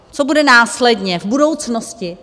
Co bude následně, v budoucnosti?